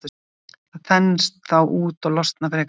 Það þenst þá út og losnar frekar en ella.